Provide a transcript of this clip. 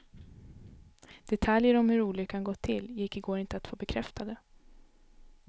Detaljer om hur olyckan gått till gick i går inte att få bekräftade.